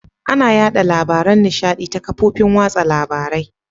Ana yaɗa labaran nishaɗi ta ƙafofin watsa labarai.